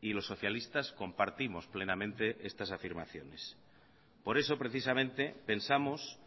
y los socialistas compartimos plenamente estas afirmaciones por eso precisamente pensamos